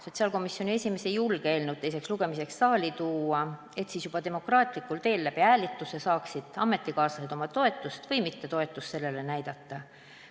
Sotsiaalkomisjoni esimees ei julge eelnõu teiseks lugemiseks saali tuua, et siis juba demokraatlikul teel, hääletuse abil saaksid ametikaaslased oma toetust või mittetoetust sellele näidata.